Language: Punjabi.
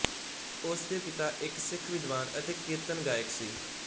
ਉਸ ਦੇ ਪਿਤਾ ਇੱਕ ਸਿੱਖ ਵਿਦਵਾਨ ਅਤੇ ਕੀਰਤਨ ਗਾਇਕ ਸੀ